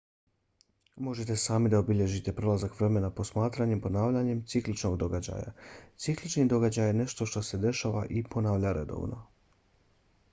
možete sami da obilježite prolazak vremena posmatranjem ponavljanja cikličnog događaja. ciklični događaj je nešto što se dešava i ponavlja redovno